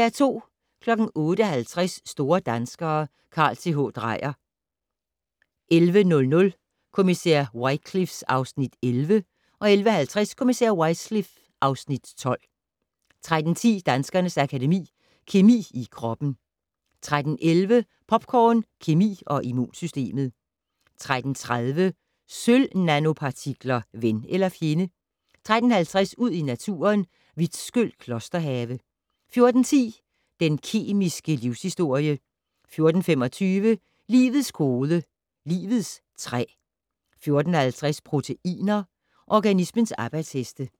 08:50: Store danskere - Carl Th. Dreyer 11:00: Kommissær Wycliffe (Afs. 11) 11:50: Kommissær Wycliffe (Afs. 12) 13:10: Danskernes Akademi: Kemi i kroppen 13:11: Popcorn, kemi og immunsystemet 13:30: Sølv-nanopartikler: Ven eller fjende? 13:50: Ud i Naturen - Vitskøl Klosterhave 14:10: Den kemiske livshistorie 14:25: Livets kode - livets træ 14:50: Proteiner - organismens arbejdsheste